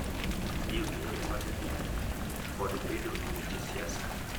Tiyo gi yore mag mbui kod bedo e weche siasa